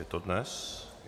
Je to dnes?